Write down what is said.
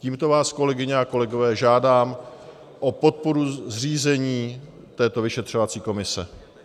Tímto vás, kolegyně a kolegové, žádám o podporu zřízení této vyšetřovací komise.